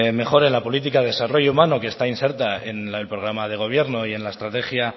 mejor en la política desarrollo humano que está inserta en el programa de gobierno y en la estrategia